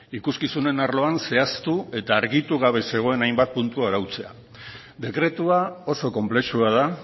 ikuskizunen arloan zehaztu eta argitu gabe zegoen hainbat puntu arautzea dekretua oso konplexua da